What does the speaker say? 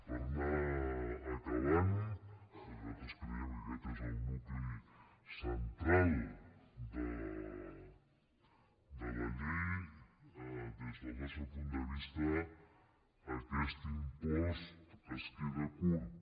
per anar acabant perquè nosaltres creiem que aquest és el nucli central de la llei des del nostre punt de vista aquest impost es queda curt